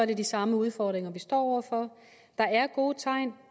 er de samme udfordringer vi står over for der er gode tegn